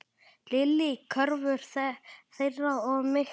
Lillý: Kröfur þeirra of miklar?